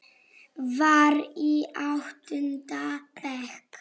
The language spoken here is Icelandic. Var í áttunda bekk.